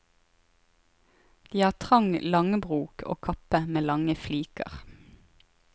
De har trang langbrok og kappe med lange fliker.